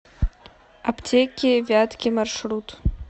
аптеки вятки маршрут